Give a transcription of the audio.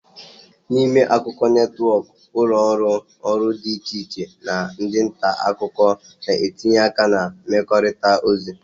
N'ime akụkọ netwọkụ, ụlọ ọrụ ụlọ ọrụ dị iche iche na ndị nta akụkọ na-etinye aka na ịmekọrịta ozi